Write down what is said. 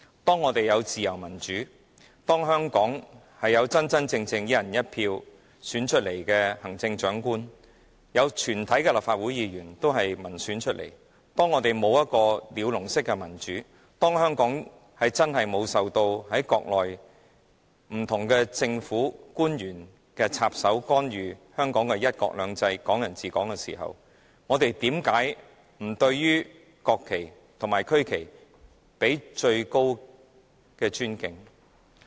當我們享有自由民主，香港真正能"一人一票"選出行政長官，全體立法會議員均由民選產生，我們沒有一個鳥籠式的民主，香港真的沒有受到國內不同政府官員插手干預"一國兩制"、"港人治港"時，我們怎會不對國旗和區旗予以最高的尊敬？